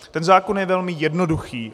Ten zákon je velmi jednoduchý.